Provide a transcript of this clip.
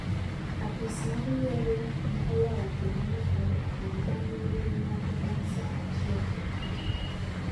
Apis mar yiero ne oyawo kuonde mag goyo ombulu bang’ nyiriri moko bang’ saa achiel okinyi.